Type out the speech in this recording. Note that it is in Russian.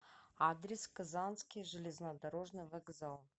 адрес казанский железнодорожный вокзал